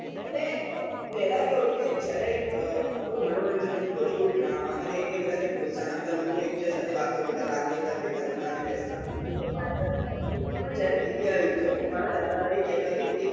અને પેલાં કેવું હતું કે જયારે કોઈ મનોરંજન હતું કોઈ drama એકબીજા ને પ્રોત્સાહન આપતા લોકો એક બીજા સાથે વાતો કરતા રાતે બધા ભેગા ને બેસતા જયારે TV આવી તો મારા દાદા હતા કે એક